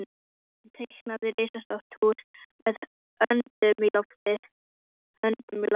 Sæunn teiknar risastórt hús með höndunum í loftið.